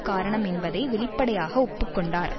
காரணம் என்பதை வெளிப்படையாக ஒப்பு கொண்டார்